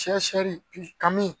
kami